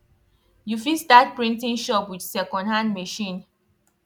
you fit start printing shop with secondhand machine